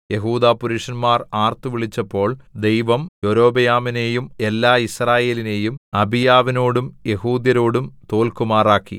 യെഹൂദാപുരുഷന്മാർ ആർത്തുവിളിച്ചപ്പോൾ ദൈവം യൊരോബെയാമിനെയും എല്ലാ യിസ്രായേലിനെയും അബീയാവിനോടും യെഹൂദ്യരോടും തോല്ക്കുമാറാക്കി